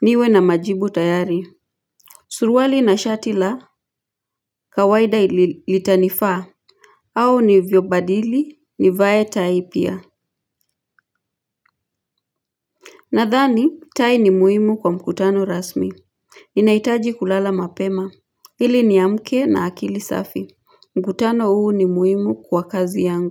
Niwe na majibu tayari. Surwali na shati la kawaida ilitanifaa au nivyobadili ni vae tai pia. Nadhani tai ni muimu kwa mkutano rasmi. Inaitaji kulala mapema. Ili niamke na akili safi. Mkutano huu ni muhimu kwa kazi yangu.